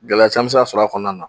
Gɛlɛya caman bɛ se ka sɔrɔ a kɔnɔna na